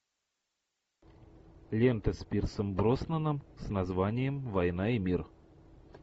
лента с пирсом броснаном с названием война и мир